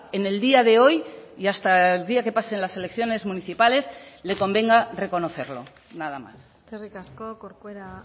en el día de hoy y hasta el día que pasen las elecciones municipales le convenga reconocerlo nada más eskerrik asko corcuera